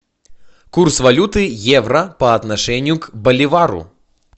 курс валюты евро по отношению в боливару